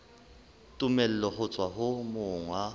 tumello ho tswa ho monga